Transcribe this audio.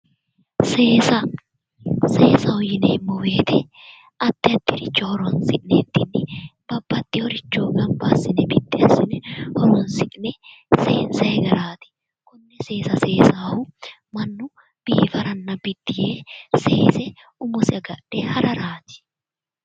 Seesa seesaho yineemmo woyte addi addiricho horonsi'nikkinni babbaxeworicho gamba assine horoonsi'nikkinni seensayi garaati konne seesa seesahu mannu biddi yee umosi agadhe hararaati.